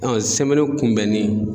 kunbɛnni